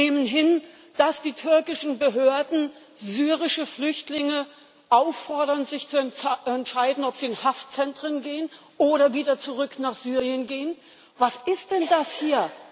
Wir nehmen hin, dass die türkischen Behörden syrische Flüchtlinge auffordern, sich zu entscheiden, ob sie in Haftzentren oder wieder zurück nach Syrien gehen. Was ist denn das hier?